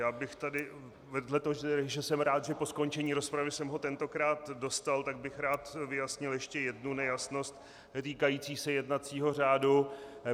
Já bych tady vedle toho, že jsem rád, že po skončení rozpravy jsem ho tentokrát dostal, tak bych rád vyjasnil ještě jednu nejasnost týkající se jednacího řádu.